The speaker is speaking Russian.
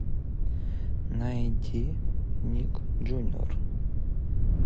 найди ник джуниор